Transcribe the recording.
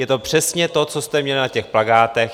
Je to přesně to, co jste měli na těch plakátech.